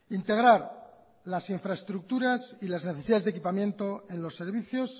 integrar las infraestructuras y las necesidades de equipamiento en los servicios